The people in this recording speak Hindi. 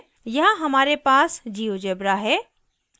यहाँ हमारे पास geogebra है